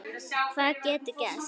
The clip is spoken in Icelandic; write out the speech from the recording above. Hvað getur gerst?